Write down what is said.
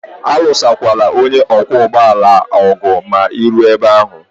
Alụsola onye ọkwọ ụgbọala ọgụ ma ị ruo ebe ahụ!